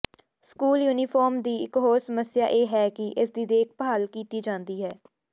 school uniform ਦੀ ਇਕ ਹੋਰ ਸਮੱਸਿਆ ਇਹ ਹੈ ਕਿ ਇਸ ਦੀ ਦੇਖਭਾਲ ਕੀਤੀ ਜਾਂਦੀ ਹੈ